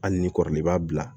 Hali ni kɔrɔlen b'a bila